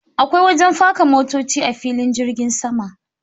Akwai wajen faka motoci a filin jirgin sama.